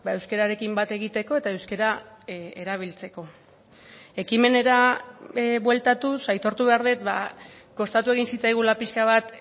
euskararekin bat egiteko eta euskara erabiltzeko ekimenera bueltatuz aitortu behar dut kostatu egin zitzaigula pixka bat